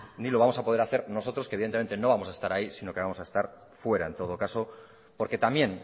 no lo vamos a poder hacer nosotros que evidentemente no vamos a estar ahí sino que vamos a estar fuera en todo caso porque también